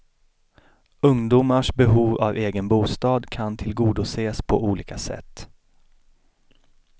Ungdomars behov av egen bostad kan tillgodoses på olika sätt.